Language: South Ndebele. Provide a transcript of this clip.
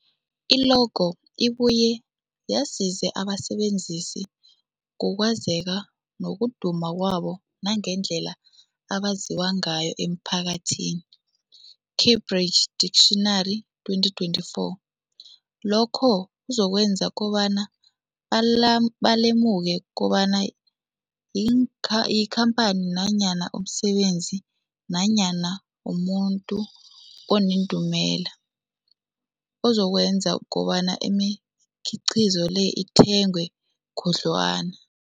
I-logo ibuye yazise abasebenzisi ngokwazeka nokuduma kwabo nangendlela abaziwa ngayo emphakathini, Cambridge Dictionary, 2024. Lokho kuzokwenza kobana bala balemuke kobana inkha yikhamphani nanyana umsebenzi nanyana umuntu onendumela, okuzokwenza kobana imikhiqhizo leyo ithengwe khudlwana.